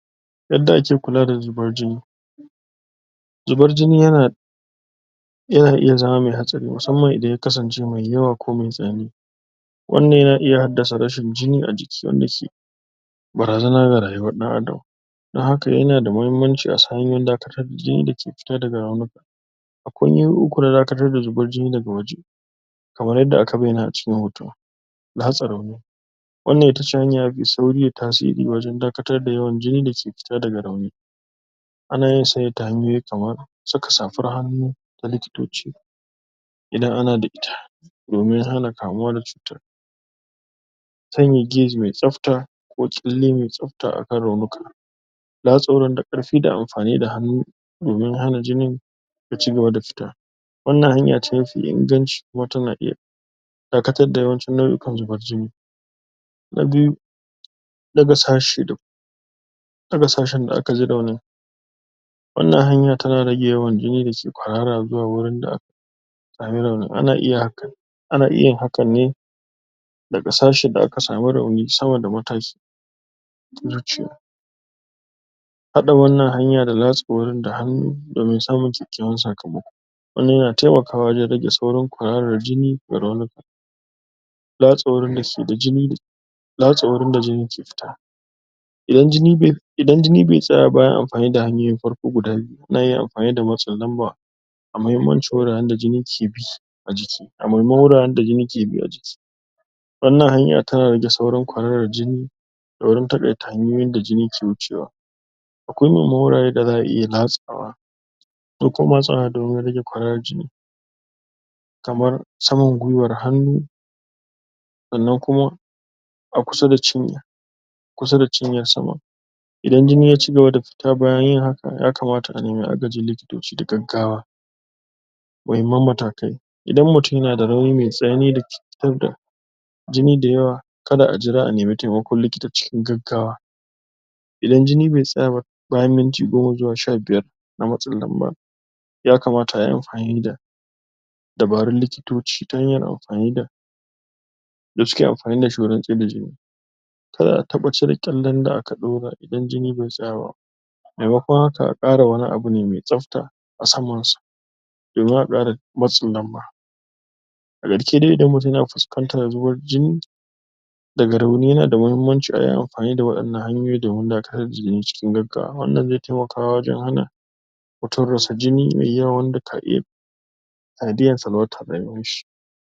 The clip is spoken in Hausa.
yadda ake kula da zubar jini zubar jini yana yana iya zama me hatsari musamman idan ya kasance me yawa ko me tsanani wannan yana iya haddasa rashin jini a jiki wanda shi barazana ga rayuwar ɗan Adam dan haka yana da muhimmanci a san hanyoyin dakatar da jini da ke cike daga raunuka akwai hanyoyi uku na dakatar da zubar jini daga waje kamar yadda aka bayyana a cikin hoto matsa rauni wannan itace hanya mafi sauri da tasiri wajen dakatar da yawan jini dake fita daga rauni ana yin sa ne ta hanyoyi kamar saka safar hannu ta likitoci idan ana da ita domin hana kamuwa da cuta sanya gauze me tsafta ko ƙyalle me tsafta akan raunuka latsa wurin da ƙarfi da amfani da hannu hannu domin hana jinin ya cigaba da fita wannan hanya ce mafi inganci kuma tana iya dakatar da yawancin nau'ukan zubar jini na biyu ɗaga sashi ɗaga sashin da aka ji rauni wannan hanya tana rage yawan jini da ke kwarara zuwa wurin da aka sami raunin? ana iya yin hakan ne daga sashin da aka samu rauni sama da matashi? haɗa wannan hanya da latsa wurin da hannu domin samun kyakkyawan sakamako wannan yana temaka wa wajen rage saurin kwararar jini daga raunuka? latsa wurin da jini ke fita idan jini be tsaya ba bayan amfani da hanyoyin farko guda biyu ana iya amfani da matsi lamba a mahimmancin wuraren da jini ke bi a jiki jiki a muhimman wuraren da jini ke bi a jiki wannan hanya tana rage saurin kwararar jini a wurin taƙaita hanyoyin da jini ke wucewa akwai muhimman wurare da za'a iya latsawa ko kuma matsawa domin rage kwararar jini kamar saman gwiwar hannu sannan kuma a kusa da cinya kusa da cinya sama idan jini ya cigaba da fita bayan yin haka ya kamata a nemi agajin likitoci da gaggawa muhimman matakai idan mutum yana da rauni me tsanani dake fitar da jini da yawa kada a jira a nemi temakon likita cikin gaggawa idan jini be tsaya ba bayan minti goma zuwa sha biyar na matsin lamba ya kamata ayi amfani da dabarun likitoci ta hanyar amfani da da suke amfani da shi wurin tsaida jini kar a taɓa cire ƙyallen da aka ɗora idan jini be tsaya ba maimakon haka a ƙara wani abu ne me tsafta a saman sa domin a ƙara matsin lamba a karshe dai idan mutum na fuskantar zuban jini jini daga rauni yana da mahimmanci a yi amfani da waɗannan hanyoyi domin dakatar da jini cikin gaggawa wannan ze temakawa wajen hana mutum rasa jini me yawa wanda ta iya sanadiyar salwantar rayuwanshi